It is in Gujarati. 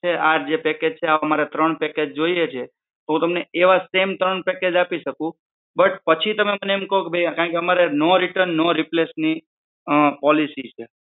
આ જે package છે આવા અમારા ત્રણ package જોઈએ છે તો હું તમને એવા જ same ત્રણ package આપી શકું but પછી તમે એમ કહો કે કારણકે અમારે no return no replace ની અ policy છે.